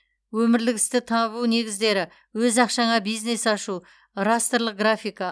өмірлік істі табу негіздері өз ақшаңа бизнес ашу растрлық графика